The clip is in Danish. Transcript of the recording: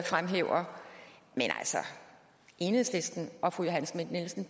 fremhæver men enhedslisten og fru johanne schmidt nielsen